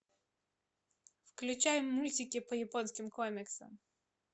включай мультики по японским комиксам